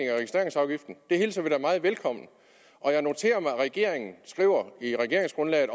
af registreringsafgiften det hilser vi da meget velkommen og jeg noterer mig at regeringen i regeringsgrundlaget